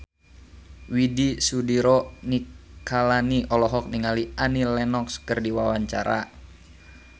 Widy Soediro Nichlany olohok ningali Annie Lenox keur diwawancara